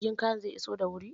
Jirgin kayan zai iso da wuri?